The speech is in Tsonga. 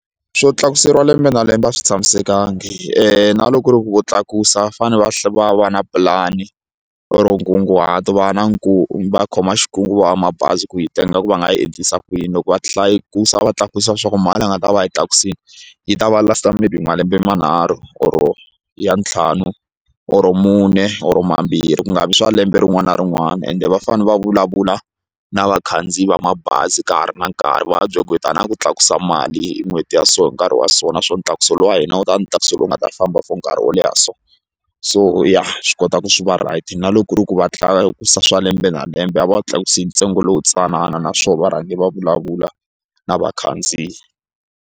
Swo tlakuseriwa lembe na lembe a swi tshamisekanga na loko ku ri ku vo tlakusa va fanele va va va na pulani or nkunguhato va na va khoma va mabazi ku yi tenga ku va nga yi endlisa ku yini loko va hlaya va tlakusa leswaku a nga ta va a yi tlakusile yi ta va last-a mirini malembe manharhu or ya ntlhanu or mune or mambirhi ku nga vi swa lembe rin'wana na rin'wana ende va fanele va vulavula na vakhandziyi va mabazi ka ha ri na nkarhi va va byela ku hi ta na ku tlakusa mali hi n'hweti ya so hi nkarhi wa so naswona ntlakuso lowu wa hina wu ta va ntlakuso lowu nga ta famba for nkarhi wo leha so so ya swi kota ku swi va right na loko ri ku va tlakusa swa lembe na lembe a va wu tlakusi hi ntsengo lowuntsanana naswona varhangeri va vulavula na vakhandziyi.